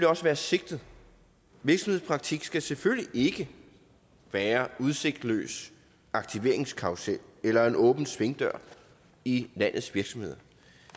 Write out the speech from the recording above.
også være sigtet virksomhedspraktik skal selvfølgelig ikke være en udsigtsløs aktiveringskarrusel eller en åben svingdør i landets virksomheder